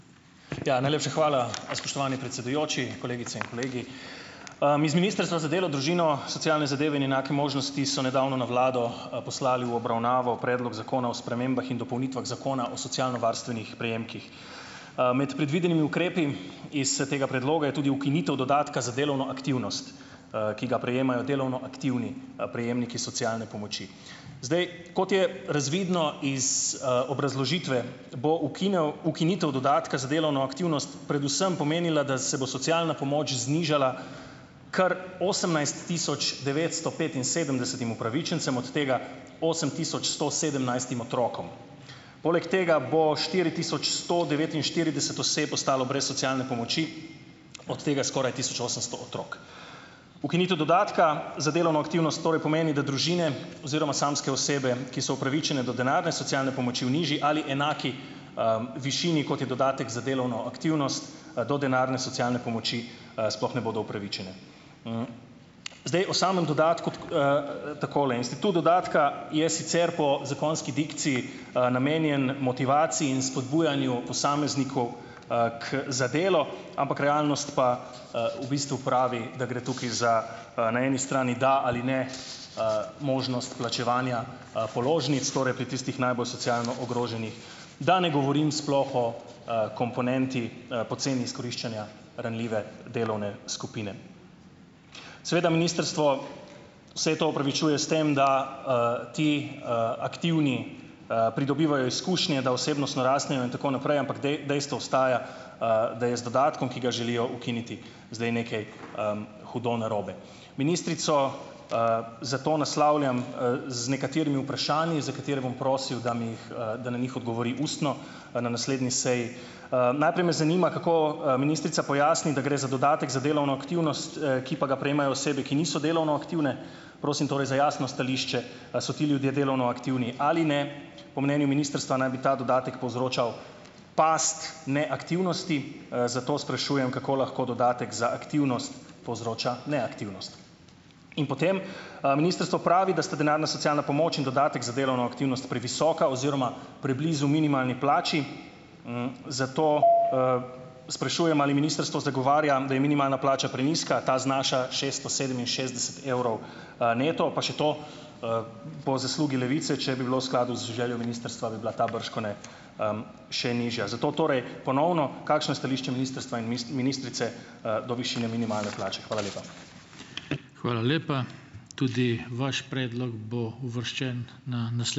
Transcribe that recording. Ja, najlepša hvala, spoštovani predsedujoči, kolegice in kolegi . iz Ministrstva za delo, družino, socialne zadeve in enake možnosti so nedavno na vlado, poslali v obravnavo predlog zakona o spremembah in dopolnitvah Zakona o socialnovarstvenih prejemkih. med predvidenimi ukrepi iz, tega predloga je tudi ukinitev dodatka za delovno aktivnost, ki ga prejemajo delovno aktivni, prejemniki socialne pomoči. Zdaj, kot je razvidno iz, obrazložitve, bo ukinitev dodatka za delovno aktivnost predvsem pomenila, da se bo socialna pomoč znižala kar osemnajst tisoč devetsto petinsedemdesetim upravičencem, od tega osem tisoč sto sedemnajstim otrokom. Poleg tega bo štiri tisoč sto devetinštirideset oseb ostalo brez socialne pomoči, od tega skoraj tisoč osemsto otrok. Ukinitev dodatka za delovno aktivnost torej pomeni, da družine oziroma samske osebe, ki so upravičene do denarne socialne pomoči v nižji ali enaki, višini, kot je dodatek za delovno aktivnost, do denarne socialne pomoči, sploh ne bodo upravičene. zdaj, o samem dodatku takole. Institut dodatka je sicer po zakonski dikciji, namenjen motivaciji in spodbujanju posameznikov, k za delo, ampak realnost pa, v bistvu pravi, da gre tukaj za, na eni strani da ali ne, možnost plačevanja, položnic, torej pri tistih najbolj socialno ogroženih, da ne govorim sploh o, komponenti, poceni izkoriščanja ranljive delovne skupine. Seveda ministrstvo vse to opravičuje s tem, da, ti, aktivni, pridobivajo izkušnje, da osebnostno rastejo in tako naprej, ampak dejstvo ostaja, da je z dodatkom, ki ga želijo ukiniti, zdaj nekaj, hudo narobe. Ministrico, zato naslavljam, z nekaterimi vprašanji, za katere bom prosil, da mi jih, da na njih odgovori ustno, na naslednji seji. najprej me zanima, kako, ministrica pojasni, da gre za dodatek za delovno aktivnost, ki pa ga prejemajo osebe, ki niso delovno aktivne. Prosim torej za jasno stališče, a so ti ljudje delovno aktivni ali ne. Po mnenju ministrstva naj bi ta dodatek povzročal pasti neaktivnosti, zato sprašujem, kako lahko dodatek za aktivnost povzroča neaktivnost. In potem, ministrstvo pravi, da sta denarna socialna pomoč in dodatek za delovno aktivnost previsoka oziroma preblizu minimalni plači, zato, sprašujem, ali ministrstvo zagovarja, da je minimalna plača prenizka. Ta znaša šesto sedeminšestdeset evrov, neto, pa še to, po zaslugi Levice, če bi bilo v skladu z željo ministrstva, bi bila ta bržkone, še nižja. Zato torej ponovno, kakšno je stališče ministrstva in ministrice, do višine minimalne plače. Hvala lepa .